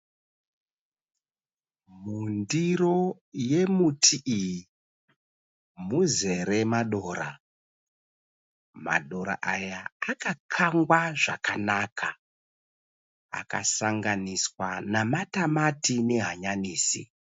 Mundiro yemuti iyi muzere madora . Madora aya akakangwa zvakanaka akasanganiswa nematamati nehanyanisi.